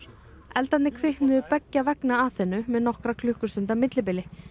eldarnir kviknuðu beggja vegna Aþenu með nokkra klukkustunda millibili